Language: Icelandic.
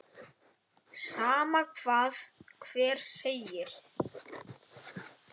Sama hvað hver segir.